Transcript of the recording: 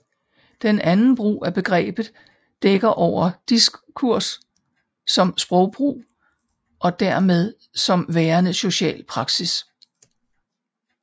Den anden brug af begrebet dækker over diskurs som sprogbrug og dermed som værende social praksis